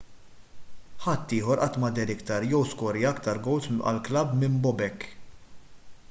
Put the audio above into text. ħadd ieħor qatt ma deher iktar jew skorja iktar gowls għall-klabb minn bobek